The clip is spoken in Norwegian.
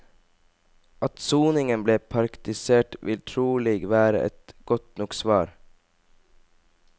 At soningen ble parktisert vil trolig være et godt nok svar.